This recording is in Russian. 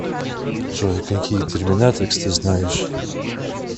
джой какие терминатрикс ты знаешь